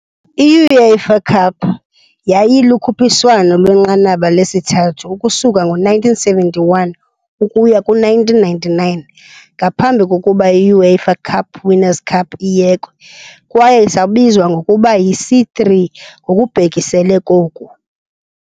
I-UEFA Cup yayilukhuphiswano lwenqanaba lesithathu ukusuka ngo-1971 ukuya kwi-1999 ngaphambi kokuba i- UEFA Cup Winners' Cup iyekwe, kwaye isabizwa ngokuba yi "C3" ngokubhekisele koku.